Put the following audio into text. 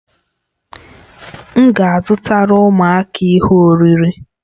M ga-azụtara ụmụaka ihe oriri